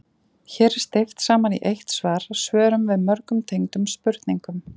Hér er steypt saman í eitt svar svörum við mörgum tengdum spurningum.